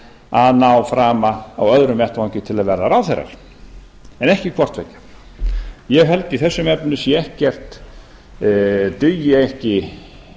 að ná frama á öðrum vettvangi til að verða ráðherrar en ekki hvort tveggja ég held að í þessum efnum dugi ekki